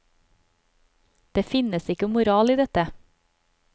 Det finnes ikke moral i dette.